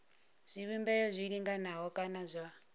zwivhumbeo zwi linganaho kana zwa